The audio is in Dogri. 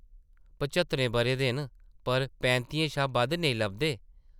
पच्हत्तरें बʼरें दे न पर पैंत्तियें शा बद्ध नेईं लभदे ।